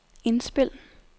indspil